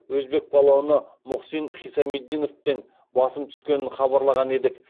өзбек палуаны мухсин хисамиддиновтен басым түскенін хабарлаған едік